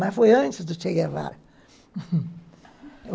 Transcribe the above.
Mas foi antes do Che Guevara.